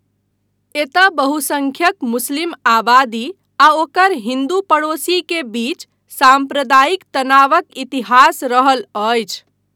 एतय बहुसंख्यक मुस्लिम आबादी आ ओकर हिंदू पड़ोसी के बीच साम्प्रदायिक तनावक इतिहास रहल अछि।